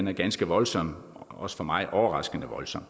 er ganske voldsom også for mig overraskende voldsom og